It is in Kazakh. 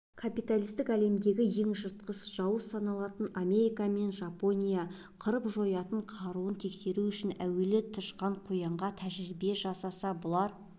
капиталистік әлемдегі ең жыртқыш жауыз саналатын америка мен жапония қырып-жоятын қаруын тексеру үшін әуелі тышқан-қоянға тәжірибе жасаса бұлар